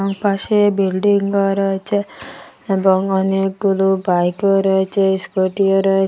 ওই পাশে বিল্ডিং -ও রয়েছে এবং অনেকগুলো বাইক -ও রয়েছে স্কুটি -ও রয়েছে।